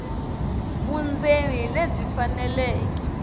vundzeni hi lebyi faneleke